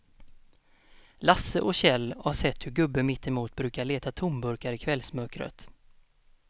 Lasse och Kjell har sett hur gubben mittemot brukar leta tomburkar i kvällsmörkret.